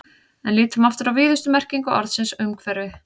En lítum aftur á víðustu merkingu orðsins umhverfi.